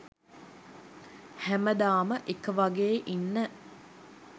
හැමදාම එක වගේ ඉන්න